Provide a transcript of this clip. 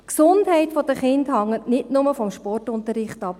Die Gesundheit der Kinder hängt nicht nur vom Sportunterricht ab.